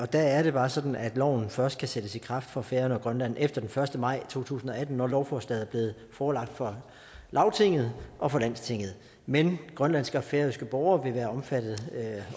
der er det bare sådan at loven først kan sættes i kraft for færøerne og grønland efter den første maj to tusind og atten når lovforslaget er blevet forelagt for lagtinget og landstinget men grønlandske og færøske borgere vil være omfattet